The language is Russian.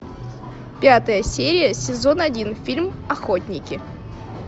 пятая серия сезон один фильм охотники